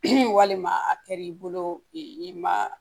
walima a kɛ l'i bolo i ma